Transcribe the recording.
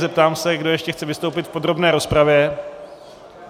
Zeptám se, kdo ještě chce vystoupit v podrobné rozpravě.